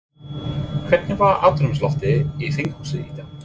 Hvernig var andrúmsloftið í þinghúsinu í dag?